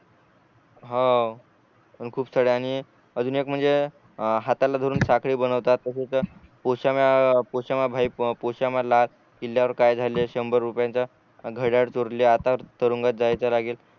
हो खूप साऱ्यांनी अजून एक म्हणजे हाताला धरून साखळी बनवतात तसेच किल्ल्यावर काय झालं शंभर रुपयांची घड्याळ चोरली आता तरुंगात जायचं लागेल